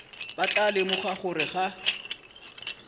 ba tla lemoga gore ga